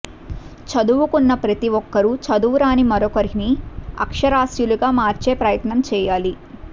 చదువుకున్న ప్రతీ ఒక్కరూ చదువురాని మరొకరిని అక్షరాస్యులుగా మార్చే ప్రయత్నం చేయాలి